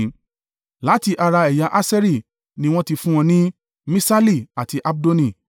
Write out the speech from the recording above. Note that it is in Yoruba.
Láti ara ẹ̀yà Aṣeri ni wọ́n ti fún wọn ní Miṣali, àti Abdoni,